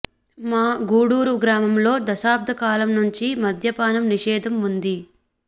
మా గూడురు గ్రామంలో దశాబ్ద కాలం నుంచి మద్యపానం నిషేధం ఉంది